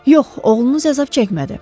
Yox, oğlunuz əzab çəkmədi.